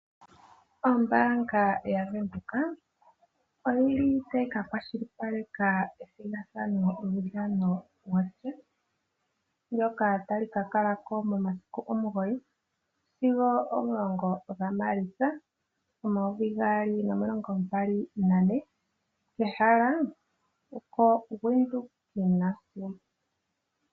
Ombaanga yaVenduka oyili tayi kakwashilipaleka lyuudhano wo chess mboka tawu ka kalako momasiku omugoyi sigo omulongo ga maalitsa omayovi gaali nomilongombali nane ehala oko Widhoek Gymnasium.